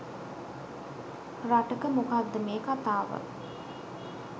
රටක මොකක්ද මේ කතාව.